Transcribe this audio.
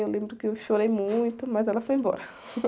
Eu lembro que eu chorei muito, mas ela foi embora.